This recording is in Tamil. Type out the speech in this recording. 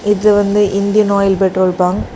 இது வந்து இந்தியன் ஆயில் பெட்ரோல் பங்க் .